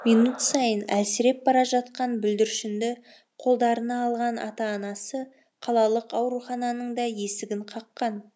минут сайын әлсіреп бара жатқан бүлдіршінді қолдарына алған ата анасы қалалық аурухананың да есігін қаққан